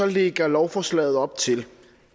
lægger lovforslaget op til